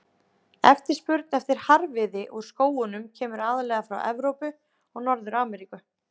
Eftirspurn eftir harðviði úr skógunum kemur aðallega frá Evrópu og Norður-Ameríku.